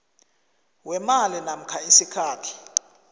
weemali namkha isikhathi